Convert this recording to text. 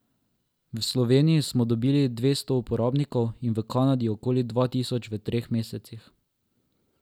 V Sloveniji smo dobili dvesto uporabnikov in v Kanadi okoli dva tisoč v treh mesecih.